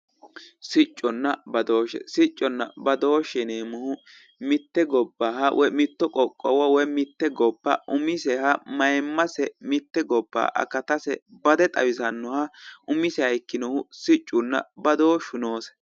sicconna badooshshe sicconna badooshshe yineemmohu mitte gobbaha woyi mitto qoqqowo woyi mitte gobbaha umiseha mayiimmase mayiimmase mitte gobba akatase bade xawisannohu umiseha ikkinohu siccunna badooshshu noose.